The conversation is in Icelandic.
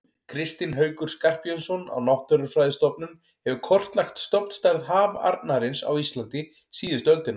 Kristinn Haukur Skarphéðinsson á Náttúrufræðistofnun hefur kortlagt stofnstærð hafarnarins á Íslandi síðustu öldina.